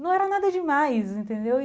Não era nada demais, entendeu?